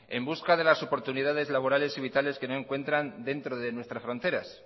en busca de las oportunidades laborales y vitales que no encuentran dentro de nuestras fronteras